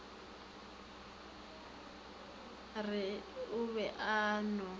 re o be a no